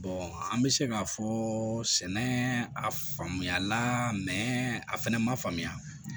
an bɛ se k'a fɔ sɛnɛ a faamuya la a fɛnɛ ma faamuya